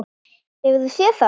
Hefur þú séð það?